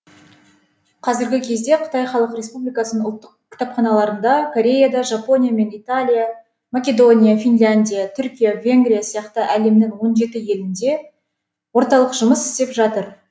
қазіргі кезде қытай халық республикасының ұлттық кітапханаларында кореяда жапония мен италия македония финляндия түркия венгрия сияқты әлемнің он жеті елінде орталық жұмыс істеп жатыр